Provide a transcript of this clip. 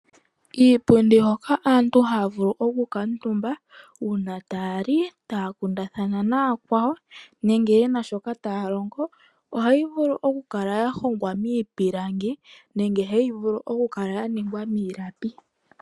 Iipundi hoka aantu haya vulu okukuutumba uuna taya li, taya kundathana nayakwawo nenge ye na shoka taya longo ohayi vulu okukala ya hongwa miipilangi nenge hayi vulu okukala ya ningwa miilapi.